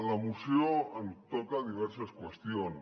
la moció toca diverses qüestions